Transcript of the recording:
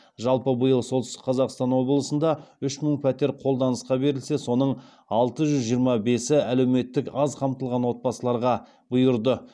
жалпы биыл солтүстік қазақстан облысында үш мың пәтер қолданысқа берілсе соның алтыжүз жиырма бесі әлеуметтік аз қамтылған отбасыларға бұйырды